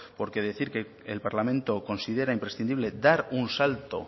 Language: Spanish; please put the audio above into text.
porque decir que el parlamento considera imprescindible dar un salto